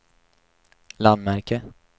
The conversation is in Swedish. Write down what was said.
landmärke